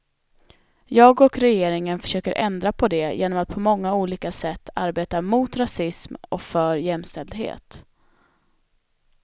Jag och regeringen försöker ändra på det genom att på många olika sätt arbeta mot rasism och för jämställdhet.